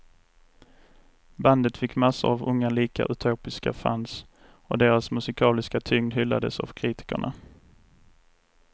Bandet fick massor av unga lika utopiska fans, och deras musikaliska tyngd hyllades av kritikerna.